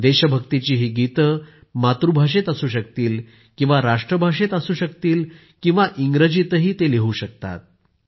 देशभक्तिची ही गीतं मातृभाषेत असू शकतील राष्ट्रभाषेत असू शकतील किंवा इंग्रजीतही लिहू शकतात